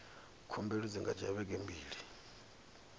khumbelo dzi nga dzhia vhege mbili